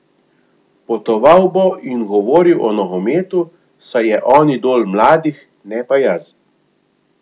Potoval bo in govoril o nogometu, saj je on idol mladih, ne pa jaz.